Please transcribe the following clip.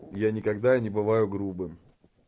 я никогда не бываю грубым